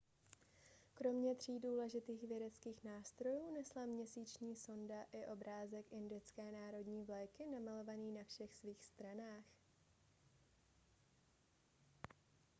kromě tří důležitých vědeckých nástrojů nesla měsíční sonda i obrázek indické národní vlajky namalovaný na všech svých stranách